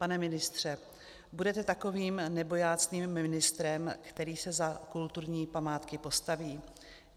Pane ministře, budete takovým nebojácným ministrem, který se za kulturní památky postaví?